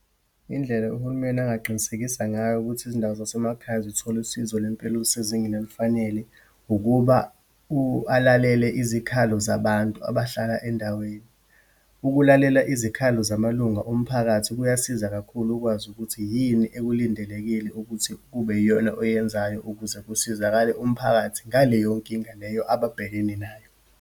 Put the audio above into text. Indlela uhulumeni angaqinisekisa ngayo ukuthi izindawo zasemakhaya zithole usizo lwempilo olusezingeni olufanele, ukuba alalele izikhalo zabantu abahlala endaweni. Ukulalela izikhalo zamalunga omphakathi kuyasiza kakhulu ukwazi ukuthi yini ekulindelekile ukuthi kube yiyona oyenzayo, ukuze kusizakale umphakathi ngaleyo nkinga leyo ababhekene nayo.